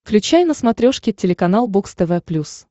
включай на смотрешке телеканал бокс тв плюс